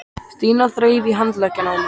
Stína þreif í handlegginn á mér.